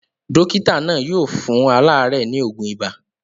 Dókítà náà yóò fún aláàárẹ̀ ní òògùn ibà.